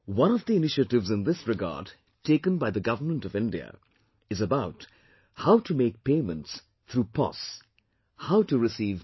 One of the initiatives in this regard taken by the Government of India is about how to make payments through 'Pos', how to receive money